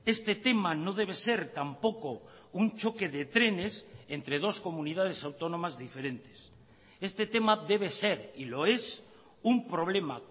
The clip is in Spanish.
este tema no debe ser tampoco un choque de trenes entre dos comunidades autónomas diferentes este tema debe ser y lo es un problema